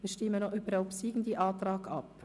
Wir stimmen noch über den obsiegenden Antrag ab.